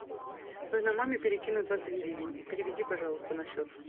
нужно маме перекинуть двадцать гривен переведи пожалуйста на счет